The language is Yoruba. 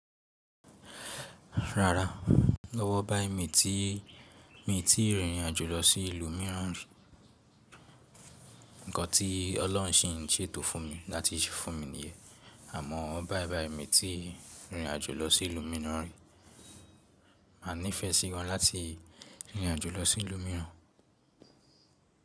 Rárá, lọ́wọ́ bái mi ti mi ti rìnrìn àjò lọ sí ìlú mìíràn. Ǹkan tí Ọlọ́run ṣi ǹ ṣètò fún mi láti ṣe fún mi nìyẹn, àmọ́ ọ́ bá ẹ bá mi ti rìnrìn àjò lọ sí ìlú mìíràn, mà nífẹ̀ẹ́ sí gan láti rìnrìn àjò lọ sí ìlú mìíràn.